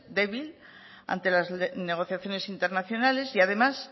débil ante las negociaciones internacionales y además